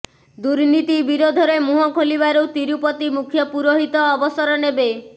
ଦୁର୍ନୀତି ବିରୋଧରେ ମୁହଁ ଖୋଲିବାରୁ ତିରୁପତି ମୁଖ୍ୟ ପୁରୋହିତ ଅବସର ନେବେ